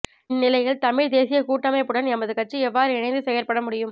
இந்நிலையில் தமிழ்த் தேசிய கூட்டமைப்புடன் எமது கட்சி எவ்வாறு இணைந்து செயற்பட முடியும்